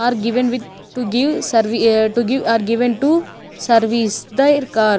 are given with to give to give are given to service their car.